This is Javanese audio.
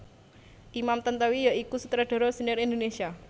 Imam Tantowi ya iku sutradara sénior Indonesia